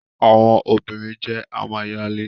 Awọn obirin jẹ amayale.